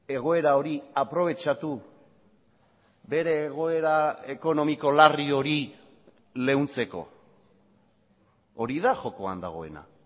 egoera hori aprobetxatu bere egoera ekonomiko larri hori leuntzeko hori da jokoan dagoena